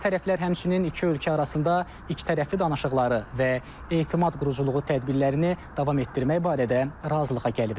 Tərəflər həmçinin iki ölkə arasında ikitərəfli danışıqları və etimad quruculuğu tədbirlərini davam etdirmək barədə razılığa gəliblər.